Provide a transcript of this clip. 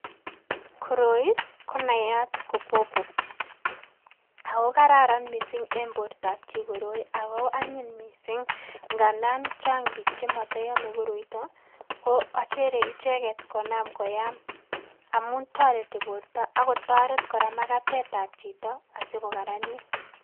Koroi konayat ko pawpaw ako karan missing' en bortab chi koroi ako anyiny missing' ngandan chang' biik chemotoyome koroiton ii ko achere icheget konam koyam amun toreti borto ak kotoret kora makatetab chito asikokaranit.